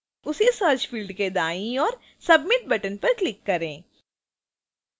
उसी search field के दाईं ओर submit button पर click करें